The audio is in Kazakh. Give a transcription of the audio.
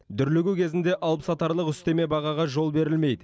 дүрлігу кезінде алыпсатарлық үстеме бағаға жол берілмейді